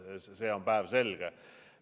See on päevselge.